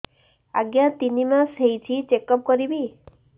ଆଜ୍ଞା ତିନି ମାସ ହେଇଛି ଚେକ ଅପ କରିବି